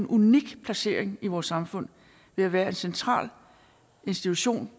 unik placering i vores samfund ved at være en central institution